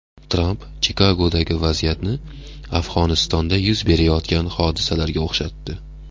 Tramp Chikagodagi vaziyatni Afg‘onistonda yuz berayotgan hodisalarga o‘xshatdi.